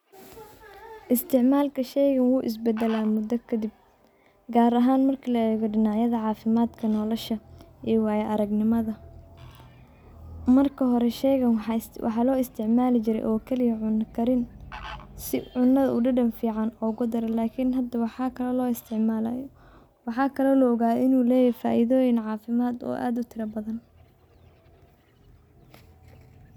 Isticmaalka shaygan wuu is badala mudo kadib gaar ahaan marki la eego dinacyada caafimadka nolosha iyo waaya aragnimada. Marka hore shaygan waxaa loo isticmaali jire oo kaliya cuno karin si cunada uu dadan fican ogu daro lakin hada waxaa kalo loo isticmaala waxaa kalo la ogaa inu leeyahay faidooyin caafimad oo aad u tiro badan.